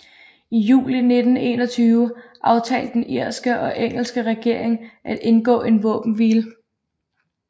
I juli 1921 aftalte den irske og engelske regering at indgå en våbenhvile